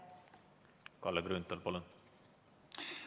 Kalle Grünthal, palun!